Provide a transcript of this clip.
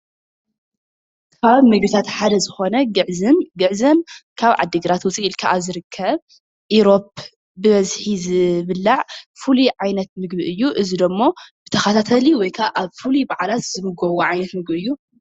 ኣብ ምግብታት ሓደ ዝኾነ ግዕዝም ግዕዝም ካብ ዓዲግራት ውፅእ ኢልካ ኣብ ዝርከብ ኢሮብ ብበዝሒ ዝብላዕ ፍሉይ ዓይነት ምግቢ እዩ ።እዚ ደሞ ብተኸታታሊ ወይ ከዓ ኣብ ፍሉይ በዓላት ዝምገብዎ ዓይነት ምግቢ እዩ።